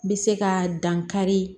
N bɛ se ka dan kari